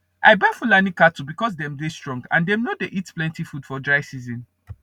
i buy fulani cattle because dem dey strong and dem nor dey eat plenty food for dry season